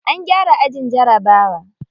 An gyara ajin jarabawa.